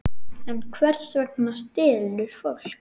En hvers vegna stelur fólk?